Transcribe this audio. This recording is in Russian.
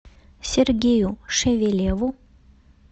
сергею шевелеву